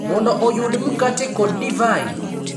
Mondo oyud mkate kod divai.